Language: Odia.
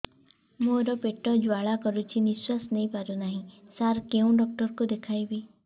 ମୋର ପେଟ ଜ୍ୱାଳା କରୁଛି ନିଶ୍ୱାସ ନେଇ ପାରୁନାହିଁ ସାର କେଉଁ ଡକ୍ଟର କୁ ଦେଖାଇବି